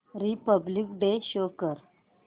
Republic Day show कर